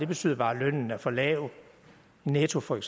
betyder bare at lønnen er for lav netto